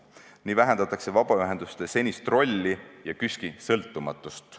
Nii vähendatakse vabaühenduste senist rolli ja KÜSK-i sõltumatust.